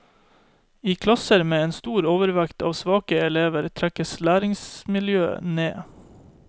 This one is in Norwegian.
I klasser med en stor overvekt av svake elever, trekkes læringsmiljøet ned.